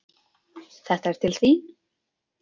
Þetta er til þín